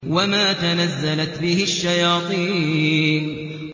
وَمَا تَنَزَّلَتْ بِهِ الشَّيَاطِينُ